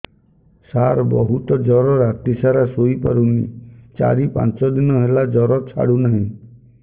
ସାର ବହୁତ ଜର ରାତି ସାରା ଶୋଇପାରୁନି ଚାରି ପାଞ୍ଚ ଦିନ ହେଲା ଜର ଛାଡ଼ୁ ନାହିଁ